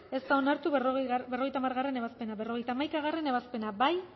ez da onartu berrogeita hamargarrena ebazpena berrogeita hamaikagarrena ebazpena bozkatu